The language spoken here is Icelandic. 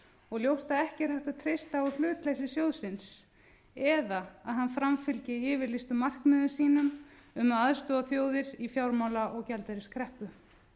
og ljóst að ekki er hægt að treysta á hlutleysi sjóðsins eða að hann framfylgi yfirlýstum markmiðum sínum um að aðstoða þjóðir í fjármála og gjaldeyriskreppu